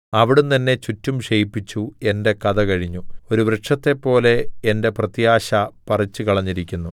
അവിടുന്ന് എന്നെ ചുറ്റും ക്ഷയിപ്പിച്ചു എന്റെ കഥകഴിഞ്ഞു ഒരു വൃക്ഷത്തെപ്പോലെ എന്റെ പ്രത്യാശ പറിച്ചുകളഞ്ഞിരിക്കുന്നു